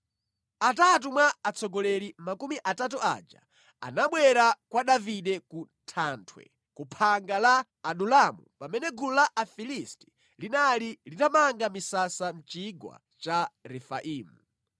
Atatu mwa atsogoleri makumi atatu aja anabwera kwa Davide ku thanthwe ku phanga la Adulamu pamene gulu la Afilisti linali litamanga misasa mʼchigwa cha Refaimu.